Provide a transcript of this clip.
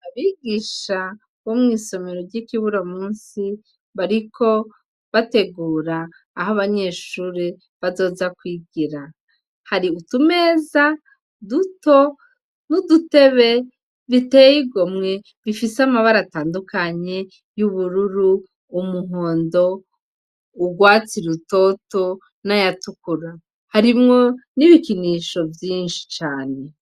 Abigisha bo mw'isomero ry'ikiburo musi bariko bategura aho abanyeshuri bazoza kwigira hari utumeza duto n'udutebe bitey igomwe bifise amabara atandukanye y'ubururu umuhondo urwatsa i lutoto n'ayatukura harimwo n'ibikinisho vyinshi cane.